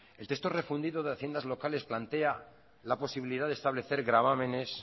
el texto refundido de haciendas locales plantea la posibilidad de establecer gravámenes